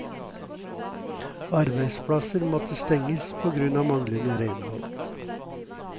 Arbeidsplasser måtte stenges pågrunn av manglende renhold.